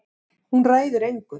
Hún ræður engu.